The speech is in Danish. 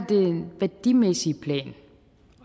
værdimæssige plan